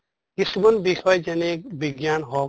কিছুমান বিষয় যেনে বিজ্ঞান হওঁক